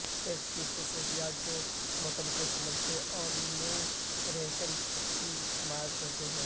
text کی خصوصیات جو متن کو سمجھنے اور نیویگیشن کی حمایت کرتے ہیں